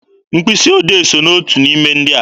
Mkpịsị odee so n'otu n'ime ihe ndị a.